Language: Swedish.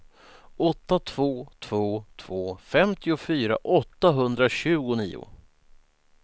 åtta två två två femtiofyra åttahundratjugonio